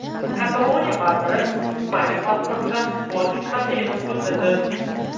Kataloniya vaziri Ispaniya pasportidan voz kechmasligini bildirdi.